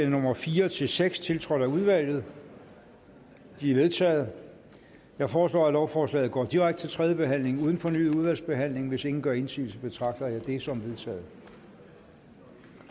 nummer fire seks tiltrådt af udvalget de er vedtaget jeg foreslår at lovforslaget går direkte til tredje behandling uden fornyet udvalgsbehandling hvis ingen gør indsigelse betragter jeg det som vedtaget